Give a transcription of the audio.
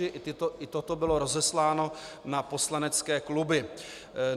I toto bylo rozesláno na poslanecké kluby.